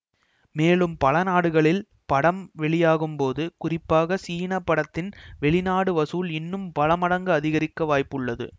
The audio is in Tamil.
மேலும் பல நாடுகளில் படம் வெளியாகும் போது குறிப்பாக சீன படத்தின் வெளிநாடு வசூல் இன்னும் பல மடங்கு அதிகரிக்க வாய்ப்புள்ளது